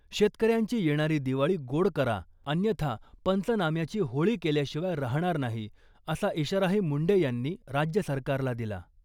शेतकऱ्यांची येणारी दिवाळी गोड करा अन्यथा पंचनाम्याची होळी केल्याशिवाय राहणार नाही , असा इशाराही मुंडे यांनी राज्य सरकारला दिला .